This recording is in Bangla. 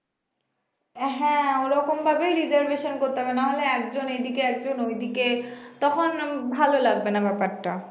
আহ হ্যাঁ ঐরকম ভাবেই reservation করতে হবে নাহলে একজন এইদিকে একজন ওইদিকে তখন ভালো লাগবে না ব্যাপারটা